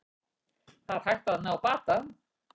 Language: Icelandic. Það er hægt að ná bata